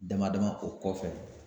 Dama dama o kɔfɛ.